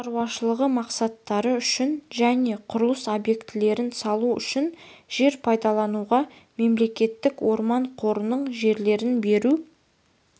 шаруашылығы мақсаттары үшін және құрылыс объектілерін салу үшін жер пайдалануға мемлекеттік орман қорының жерлерін беру